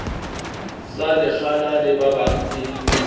sa lekgala le babang e